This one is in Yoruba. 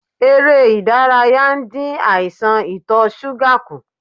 Ère ìdárayá ń dín àìsàn ito suga kù.